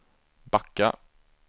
backa